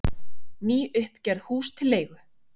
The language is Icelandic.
Nýuppgerð hús til leigu